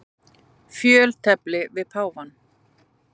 Fjöltefli við páfann.